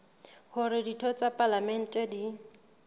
hore ditho tsa palamente di